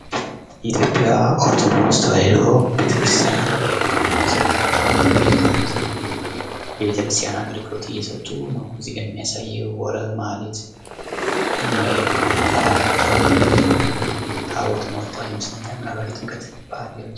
የኢትዮጵያ ኦርቶዶክስ ተዋሕዶ ቤተክርስቲያን መዘምራን አክቦች ሊቃውንት የቤተክርስቲያን አገልግሎት እየሰጡ ነው። እዚጋ የሚያሳየው ማህሌት የሚያደርጉበት ከሁዋላም በከበሮ እያጀቡ ታቦት ወጡዋል ይመስለኛል ፤ ምናልባት የጥምቀት በአል ይመስለኛል።